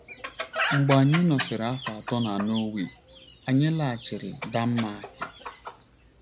Mgbe anyị nọsịrị afọ atọ na Nọọwee, anyị laghachiri Denmarki.